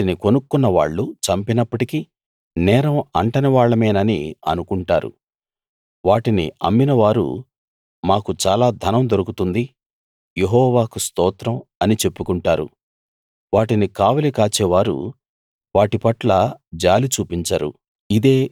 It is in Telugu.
వాటిని కొనుక్కున్న వాళ్ళు చంపినప్పటికీ నేరం అంటని వాళ్ళమేనని అనుకుంటారు వాటిని అమ్మిన వారు మాకు చాలా ధనం దొరుకుతుంది యెహోవాకు స్తోత్రం అని చెప్పుకుంటారు వాటిని కావలి కాచేవారు వాటి పట్ల జాలి చూపించరు